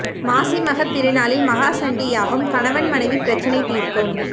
மாசி மகம் திருநாளில் மகா சண்டி யாகம் கணவன் மனைவி பிரச்சினை தீர்க்கும்